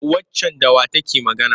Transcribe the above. Waccan da wa take magana?